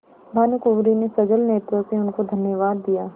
भानुकुँवरि ने सजल नेत्रों से उनको धन्यवाद दिया